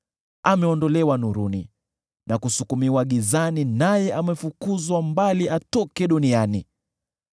Ameondolewa nuruni na kusukumiwa gizani, naye amefukuzwa mbali atoke duniani.